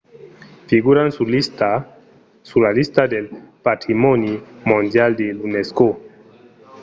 figuran sus la lista del patrimòni mondial de l’unesco